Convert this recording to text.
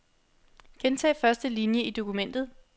Gentag første linie i dokumentet.